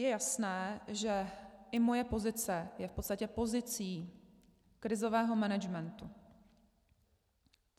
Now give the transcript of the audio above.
Je jasné, že i moje pozice je v podstatě pozicí krizového managementu.